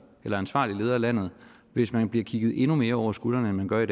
eller ansvarlig leder af landet hvis man bliver kigget endnu mere over skulderen end man gør i